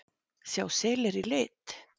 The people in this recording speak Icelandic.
Sjá selir í lit?